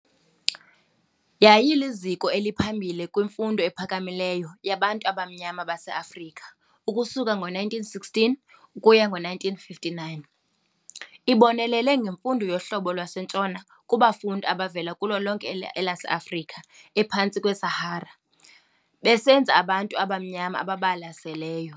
Yaye iliziko eliphambili kwimfundo ephakamileyo yabantu abamnyama baseAfrika ukusuka ngo1916 ukuya ku1959. Ibonelele ngemfundo yohlobo lwaseNtshona kubafundi abavela kulo lonke elase-Afrika ephantsi kweSahara, besenza abantu abamnyama ababalaseleyo.